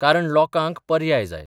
कारण लोकांक पर्याय जाय.